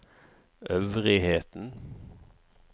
øvrigheten